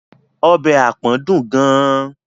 Ọbẹ̀ àpọ̀n dùn gan-an.